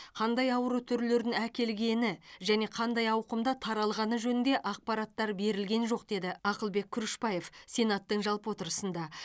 қандай ауру түрлерін әкелгені және қандай ауқымда таралғаны жөнінде ақпараттар берілген жоқ деді ақылбек күрішбаев сенаттың жалпы отырысында